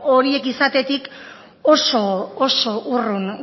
horiek izatetik oso urrun